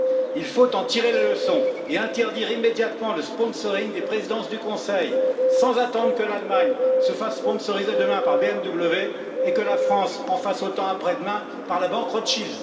Il faut en tirer les leçons et interdire immédiatement le sponsoring des présidences du Conseil, sans attendre que l'Allemagne se fasse sponsoriser demain par BMW et que la France en fasse autant après demain avec la banque Rothschild.